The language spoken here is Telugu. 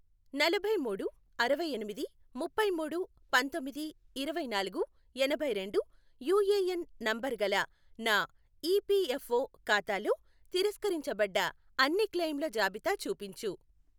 నలభై మూడు అరవై ఎనిమిది ముప్పై మూడు పంతొమ్మిది ఇరవై నాలుగు ఎనభై రెండు యుఏఎన్ నంబరు గల నా ఈపీఎఫ్ఓ ఖాతాలో తిరస్కరించబడ్డ అన్ని క్లెయిముల జాబితా చూపించు